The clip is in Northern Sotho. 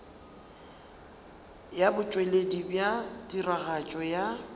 ya botšweletši bja tiragatšo ya